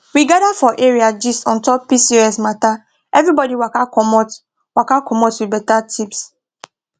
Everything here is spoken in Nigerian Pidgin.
we gather for area gist on top pcos matter everybody waka commot waka commot with better tips